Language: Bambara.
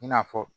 I n'a fɔ